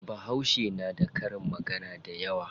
Bahauce na da karin magana dayawa.